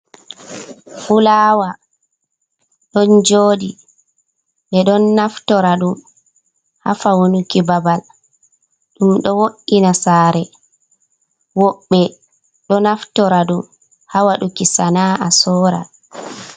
Fulawa ɗon joɗi. Ɓeɗo naftora ɗum ha fanuki babal, ɗum ɗo wo'ina sare, woɓɓe ɗo naftora ɗum ha waɗuki sana'a sora.